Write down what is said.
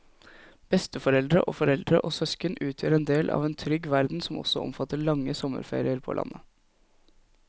Besteforeldre og foreldre og søsken utgjør en del av en trygg verden som også omfatter lange sommerferier på landet.